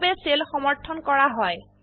কিভাবে সেল সমৰ্থন কৰা হয়